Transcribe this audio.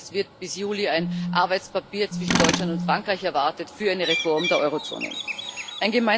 Sie wissen, es wird bis Juli ein Arbeitspapier zwischen Deutschland und Frankreich für eine Reform der Eurozone erwartet.